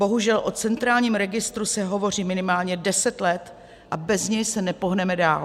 Bohužel o centrálním registru se hovoří minimálně 10 let a bez něj se nepohneme dál.